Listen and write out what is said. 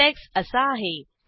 syntax असा आहे